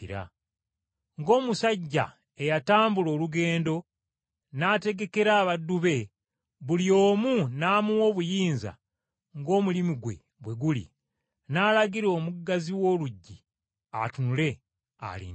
Ng’omusajja eyatambula olugendo n’ategekera abaddu be, buli omu n’amuwa obuyinza ng’omulimu gwe bwe guli, n’alagira omuggazi w’oluggi atunule alindirire.”